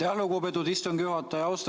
Aitäh, lugupeetud istungi juhataja!